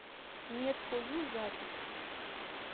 медфою запись